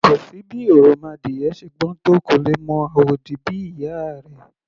Kò sí bí òròmọadìyẹ ṣe gbọ́n tó, kò lè mọ àwòdì bí ìyá a rẹ̀. /